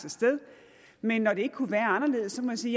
men når det ikke kunne være anderledes må jeg sige